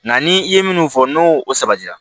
Nka ni i ye minnu fɔ n'o o sabatira